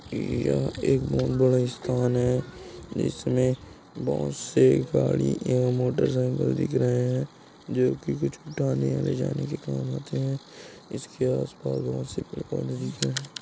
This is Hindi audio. यह एक बहोत बड़ा स्थान है जिसमे बहोत से गाड़ी एवं मोटर साइकिल दिख रहे है जो की कुछ उठाने या ले जाने के काम आते है इसके आस-पास बहोत से पेड़-पौधे दिख रहे--